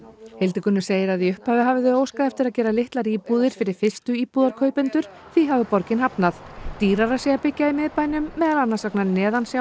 Hildigunnur segir að í upphafi hafi þau óskað eftir að gera litlar íbúðir fyrir fyrstuíbúðarkaupendur því hafi borgin hafnað dýrara sé að byggja í miðbænum meðal annars vegna